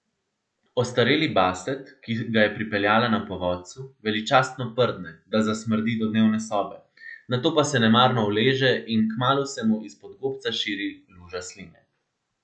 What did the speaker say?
Ostareli baset, ki ga je pripeljala na povodcu, veličastno prdne, da zasmrdi do dnevne sobe, nato pa se nemarno uleže in kmalu se mu izpod gobca širi luža sline.